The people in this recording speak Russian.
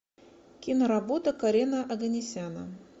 киноработа карена оганесяна